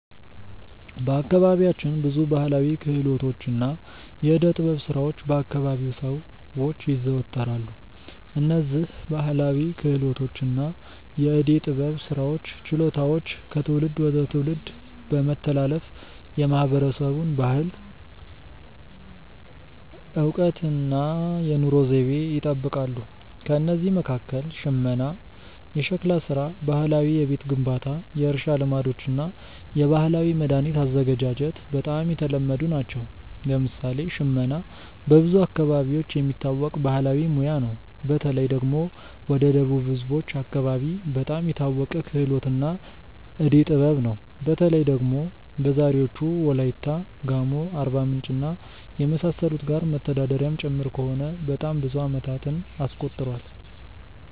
በአካባቢያችን ብዙ ባሕላዊ ክህሎቶችና የዕደ ጥበብ ሥራዎች በ አከባቢው ሰዎች ይዘወተራሉ። እነዝህ ባህላዊ ክህሎቶች እና የዕዴ ጥበብ ስራዎች ችሎታዎች ከትውልድ ወደ ትውልድ በመተላለፍ የማህበረሰቡን ባህል፣ እውቀት እና የኑሮ ዘይቤ ይጠብቃሉ። ከእነዚህ መካከል ሽመና፣ ሸክላ ሥራ፣ ባህላዊ የቤት ግንባታ፣ የእርሻ ልማዶች እና የባህላዊ መድኃኒት አዘገጃጀት በጣም የተለመዱ ናቸው። ለምሳሌ ሽመና በብዙ አካባቢዎች የሚታወቅ ባህላዊ ሙያ ነው። በተለይ ደግሞ ወደ ደቡብ ህዝቦች አከባቢ በጣም የታወቀ ክህሎት እና ዕዴ ጥበብ ነው። በተለይ ደግሞ በዛሬዎቹ ዎላይታ፣ ጋሞ፣ አርባምንጭ እና የመሳሰሉት ጋር መተዳደሪያም ጭምር ከሆነ በጣም ብዙ አመታትን አስቆጥሯል።